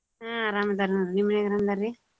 ಹಾ ಅರಾಮ್ ಅದರ್ ನೋಡ್ರಿ. ನಿಮ್ ಮನ್ಯಾಗ್ ಅರಮ್ ಅದಾರ್ರೀ?